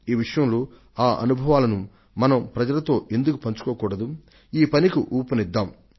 ఈ విషయంలో ఆ అనుభవాలను మనం ప్రజలతో ఎందుకు పంచుకోకూడదు ఈ పనికి ఊపునిద్దాం